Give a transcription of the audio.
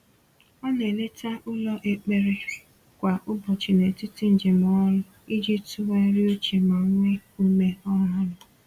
O na-eleta ụlọ ekpere kwa ụbọchị n’etiti njem ọrụ iji tụgharịa uche ma nwee ume ọhụrụ.